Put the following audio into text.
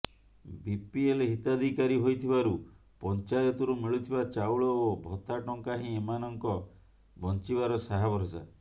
BPL ହିତାଧିକାରୀ ହୋଇଥିବାରୁ ପଞ୍ଚାୟତରୁ ମିଳୁଥିବା ଚାଉଳ ଓ ଭତ୍ତା ଟଙ୍କା ହିଁ ଏମାନଙ୍କ ବଞ୍ଚିବାର ସାହାଭରସା